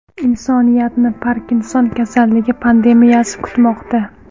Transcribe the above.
Insoniyatni Parkinson kasalligi pandemiyasi kutmoqda.